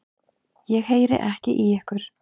Ég heyri ekki í ykkur.